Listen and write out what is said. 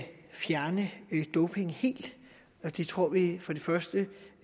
fjerne doping helt og det tror vi